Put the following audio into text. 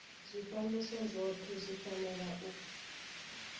zwifanyiso zwothe zwi fanela u